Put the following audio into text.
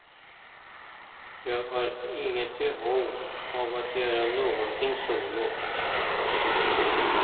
Jag har inget behov av att göra någonting solo.